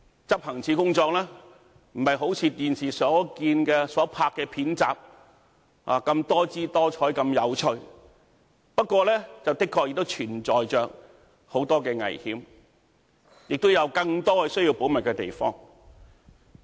執行處的工作並非如電視所看到的片集般多姿多采及有趣，不過，的確存在很多危險，亦有更多需要保密的地方。